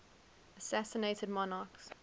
assassinated monarchs